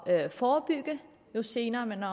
at forebygge jo senere man